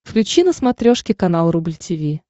включи на смотрешке канал рубль ти ви